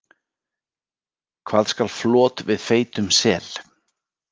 Hvað skal flot við feitum sel?